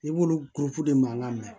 I b'olu de mankan mɛn